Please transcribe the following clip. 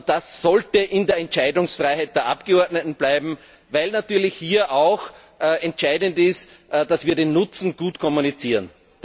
Das sollte in der Entscheidungsfreiheit der Abgeordneten bleiben, weil natürlich auch entscheidend ist, dass wir den Nutzen gut kommunizieren.